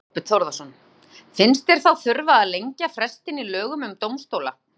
Þorbjörn Þórðarson: Finnst þér þá þurfa að lengja frestinn í lögum um dómstóla?